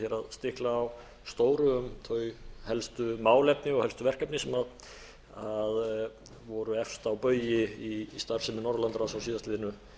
stikla á stóru um þau helstu málefni og helstu verkefni sem voru efst á baugi í starfsemi norðurlandaráðs á síðastliðnu